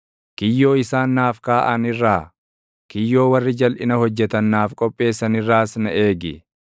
Kiyyoo isaan naaf kaaʼan irraa, kiyyoo warri jalʼina hojjetan naaf qopheessan irraas na eegi.